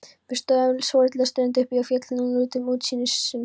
Við stóðum svolitla stund uppi á fjallinu og nutum útsýnisins.